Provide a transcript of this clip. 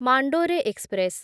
Mandore express